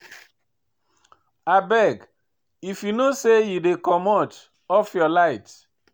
Abeg, if you know sey you dey comot, off your light.